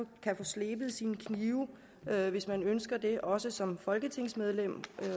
kan få slebet sine knive hvis man ønsker det også som folketingsmedlem